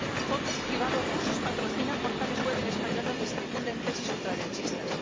Fondos privados rusos patrocinan portales web en español donde se difunden tesis ultraderechistas.